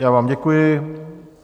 Já vám děkuji.